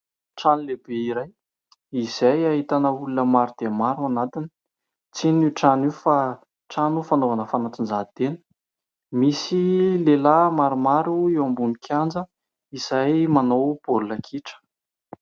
Trano lehibe iray, izay ahitana olona maro dia maro ao anatiny tsy inona io trano io fa trano fanaovana fanatanjahantena. Misy lehilahy maromaro eo ambony kianja izay manao baolina kitra.